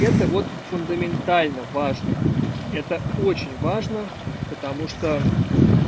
это вот фундаментально важно это очень важно потому что